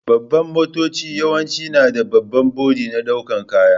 Babban motoci yawance na da babban boɗi na daukan ƙaya.